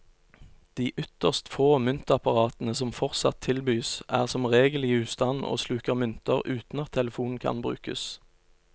De ytterst få myntapparatene som fortsatt tilbys, er som regel i ustand og sluker mynter uten at telefonen kan brukes.